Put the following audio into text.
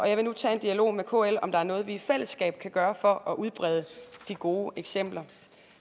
jeg vil nu tage en dialog med kl om der er noget vi i fællesskab kan gøre for at udbrede de gode eksempler